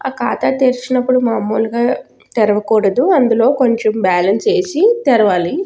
ఆ ఖాతా తెరిచినప్పుడు మాములుగా తెరవకూడదు అందులో కొంచం బ్యాలెన్స్ ఏసి తెరవాలి.